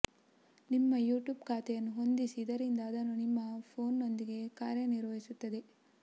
ನಿಮ್ಮ ಯುಟ್ಯೂಬ್ ಖಾತೆಯನ್ನು ಹೊಂದಿಸಿ ಇದರಿಂದ ಅದು ನಿಮ್ಮ ಫೋನ್ನೊಂದಿಗೆ ಕಾರ್ಯನಿರ್ವಹಿಸುತ್ತದೆ